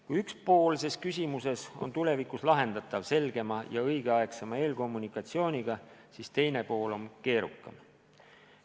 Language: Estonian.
Kui üks pool ses küsimuses on tulevikus lahendatav selgema ja õigeaegsema eelkommunikatsiooniga, siis teine pool on keerukam.